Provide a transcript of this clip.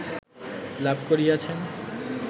লাভ করিয়াছেন